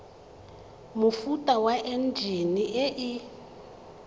mofuta wa enjine e e